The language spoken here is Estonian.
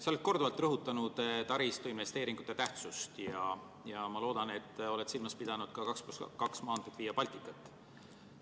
Sa oled korduvalt rõhutanud taristuinvesteeringute tähtsust ja ma loodan, et oled silmas pidanud ka 2 + 2 maanteed Via Balticat.